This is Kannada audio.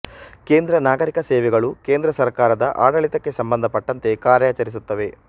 ಕೇಂದ್ರ ನಾಗರಿಕ ಸೇವೆಗಳು ಕೇಂದ್ರ ಸರ್ಕಾರದ ಆಡಳಿತಕ್ಕೆ ಸಂಬಂಧಪಟ್ಟಂತೆ ಕಾರ್ಯಾಚರಿಸುತ್ತವೆ